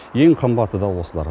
ең қымбаты да осылар